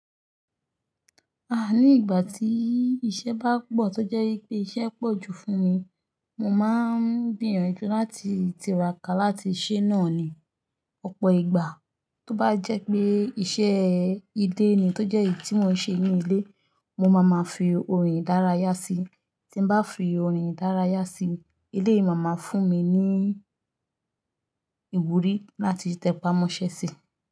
Ah! Ní ìgbà tí iṣẹ́ bá pọ̀ tó jẹ́ wipé iṣẹ́ pọ̀ ju fún mi, mo máa ń gbìyànjú láti tiraka láti ṣẹ́ náà ni. Ọ̀pọ̀ ìgbà tó bá jẹ́ pé iṣẹ́ ilé ni tó jẹ́ èyí tí mò ń ṣe ní ilé, mo máa máa fi orin ìdárayá si. Tí n bá fi orin ìdárayá sí, eléyi ma ma fún mi ní ìwúrí láti tẹpá mọ́ṣẹ́ si.